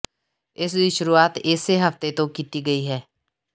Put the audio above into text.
ਇਸ ਦੀ ਸ਼ੁਰੂਆਤ ਇਸੇ ਹਫਤੇ ਤੋਂ ਕੀਤੀ ਗਈ ਹੈ